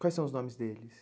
Quais são os nomes deles?